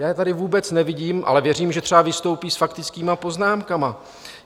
Já je tady vůbec nevidím, ale věřím, že třeba vystoupí s faktickými poznámkami.